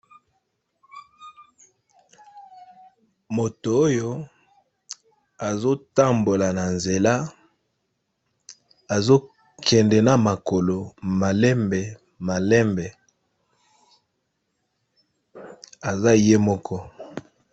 moto oyo azotambola na nzela azokende na makolo malembe malembe aza ye moko